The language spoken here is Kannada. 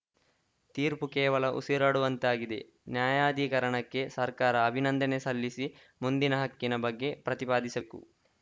ತೀರ್ಪು ಕೇವಲ ಉಸಿರಾಡುವಂತಾಗಿದೆ ನ್ಯಾಯಾಧಿಕರಣಕ್ಕೆ ಸರ್ಕಾರ ಅಭಿನಂದನೆ ಸಲ್ಲಿಸಿ ಮುಂದಿನ ಹಕ್ಕಿನ ಬಗ್ಗೆ ಪ್ರತಿಪಾದಿಸಕು